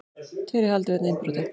Tveir í haldi vegna innbrota